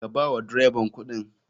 Ka bawa dreban kuɗin.